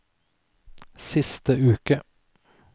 siste uke